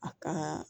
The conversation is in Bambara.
A ka